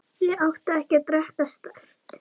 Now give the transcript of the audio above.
Ég átti ekki að drekka sterkt.